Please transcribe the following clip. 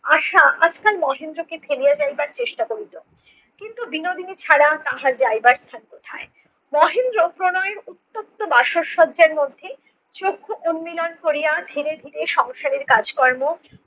আশা আজকাল মহেন্দ্রকে ঠেলিয়া যাইবার চেষ্টা করিতো। কিন্তু বিনোদিনী ছাড়া তাহার যাইবার স্থান কোথায়? মহেন্দ্র প্রণয়ের উত্তপ্ত বাসর সজ্জার মধ্যে চক্ষু উন্মীলন করিয়া ধীরে ধীরে সংসারের কাজকর্ম